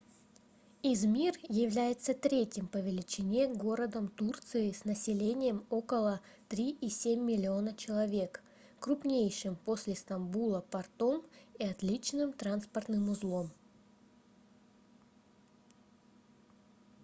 измир является третьим по величине городом турции с населением около 3,7 миллиона человек крупнейшим после стамбула портом и отличным транспортным узлом